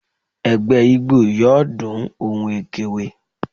Ẹgbẹ́ ijó Igbo yọọ dún ohún ekwe